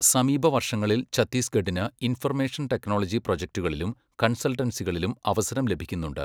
സമീപ വർഷങ്ങളിൽ ഛത്തീസ്ഗഢിന് ഇൻഫർമേഷൻ ടെക്നോളജി പ്രോജക്ടുകളിലും കൺസൾട്ടൻസികളിലും അവസരം ലഭിക്കുന്നുണ്ട്.